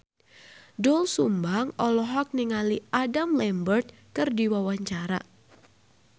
Doel Sumbang olohok ningali Adam Lambert keur diwawancara